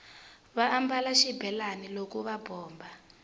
va ambala xibelani loko va bomba